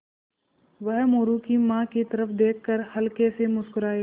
वह मोरू की माँ की तरफ़ देख कर हल्के से मुस्कराये